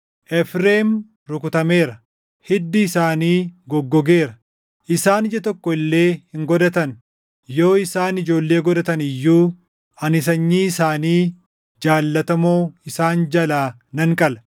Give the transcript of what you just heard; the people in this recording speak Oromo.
Efreem rukutameera; hiddi isaanii goggogeera; isaan ija tokko illee hin godhatan. Yoo isaan ijoollee godhatan iyyuu ani sanyii isaanii jaallatamoo isaan jalaa nan qala.”